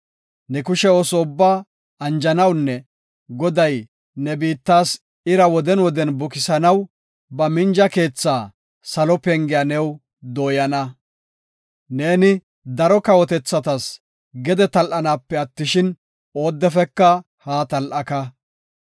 Ne kushe ooso ubbaa anjanawunne, Goday ne biittas ira woden woden bukisanaw ba minja keethaa, salo pengiya new dooyana. Neeni daro kawotethatas gede tal7anaape attishin, oodefeka haa tal7aka.